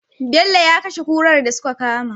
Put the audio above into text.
Bello ya kashe kurar da suka kama